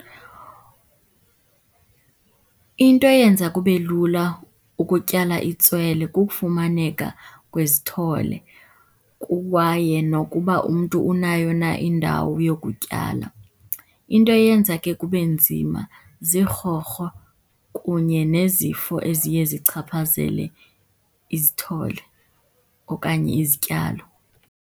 Into eyenza kube lula ukutyala itswele kukufumaneka kwezithole kwaye nokuba umntu unayo na indawo yokutyala. Into eyenza ke kube nzima zirhorho kunye nezifo eziye zichaphazele izithole okanye izityalo.